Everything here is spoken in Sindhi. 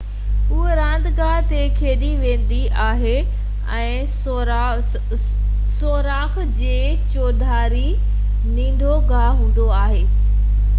اهو راند گاه تي کيڏي ويندي آهي ۽ سوراخ جي چوڌاري ننڍو گاہ هوندو آهي ۽ انهيءِ کي سائو چوندا آهن